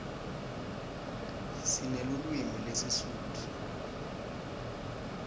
sinelulwimi lesisutfu